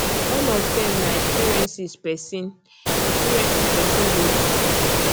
all of dem na experiences pesin experiences pesin go through